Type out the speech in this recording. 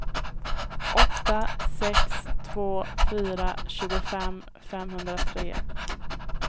åtta sex två fyra tjugofem femhundratre